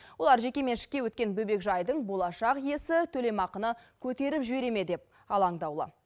олар жекеменшікке өткен бөбекжайдың болашақ иесі төлемақыны көтеріп жібере ме деп алаңдаулы